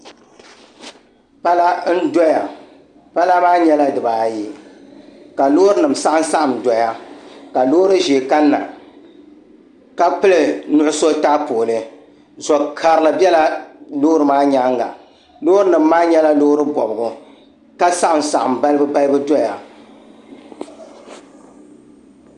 Pala n doya pala maa nyɛla dibaayi ka loori nim saɣam saɣam n doya ka loori ʒiɛ kanna ka pili nuɣso taapooli zo karili biɛla loori maa nyaanga loori nim maa nyɛla loori bobgu ka saɣam saɣam balibu balibu doya